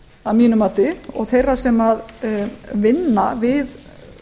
að mínu mati og þeirra sem vinna við